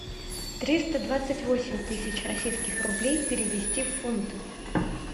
триста двадцать восемь тысяч российских рублей перевести в фунты